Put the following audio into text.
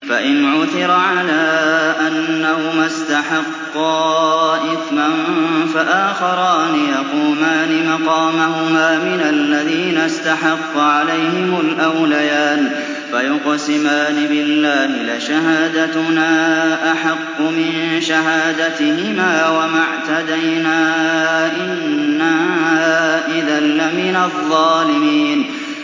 فَإِنْ عُثِرَ عَلَىٰ أَنَّهُمَا اسْتَحَقَّا إِثْمًا فَآخَرَانِ يَقُومَانِ مَقَامَهُمَا مِنَ الَّذِينَ اسْتَحَقَّ عَلَيْهِمُ الْأَوْلَيَانِ فَيُقْسِمَانِ بِاللَّهِ لَشَهَادَتُنَا أَحَقُّ مِن شَهَادَتِهِمَا وَمَا اعْتَدَيْنَا إِنَّا إِذًا لَّمِنَ الظَّالِمِينَ